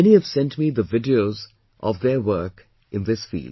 Many have sent me the videos of their work in this field